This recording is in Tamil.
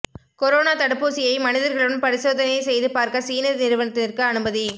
கொரோனா தடுப்பூசியை மனிதர்களிடம் பரிசோதனை செய்து பார்க்க சீன நிறுவனத்திற்கு அனுமதி